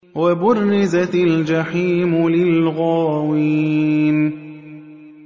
وَبُرِّزَتِ الْجَحِيمُ لِلْغَاوِينَ